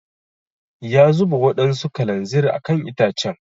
Ya zuba wadansu kalanzir a kan itacen.